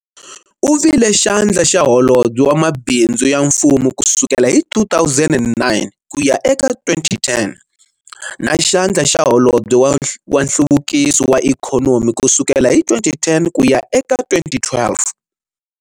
U vile Xandla xa Holobye wa Mabindzu ya Mfumo ku sukela hi 2009 ku ya eka 2010 na Xandla xa Holobye wa Nhluvukiso wa Ikhonomi ku sukela hi 2010 ku ya eka 2012.